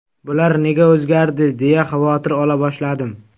Bular nega o‘zgardi deya xavotir ola boshladim.